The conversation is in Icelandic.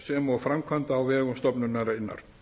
sem og framkvæmda á vegum stofnunarinnar